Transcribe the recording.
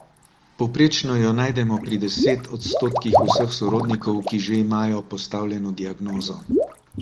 Povprečno jo najdemo pri deset odstotkih vseh sorodnikov, ki že imajo postavljeno diagnozo.